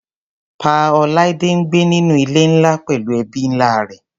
Pa. Olaide ń gbé nínú ilé ńlá pẹllú ẹbí ńlá rẹ̀.